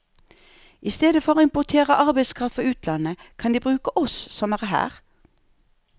I stedet for å importere arbeidskraft fra utlandet, kan de bruke oss som er her.